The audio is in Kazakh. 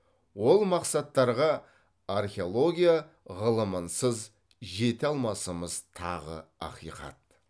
ол мақсаттарға археология ғылымынсыз жете алмасымыз тағы ақиқат